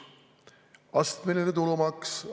Astmeline tulumaks!